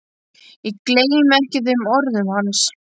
Ég gleymi ekki þeim orðum hans.